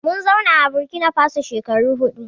Mun zauna a Burkinafaso shekaru huɗu